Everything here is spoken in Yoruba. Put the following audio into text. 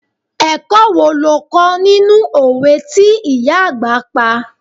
Ẹ̀kọ́ wo lo kó nínú òwe tí ìyá àgbà pa?